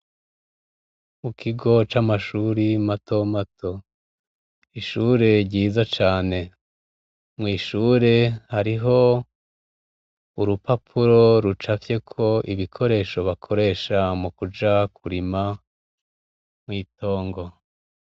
Mu kigo c'amashuri mato mato, ishure ryiza cane, mw'ishure hariho urupapuro rucafyeko ibikoresho bakoresha mukuja kurima mw'itongo.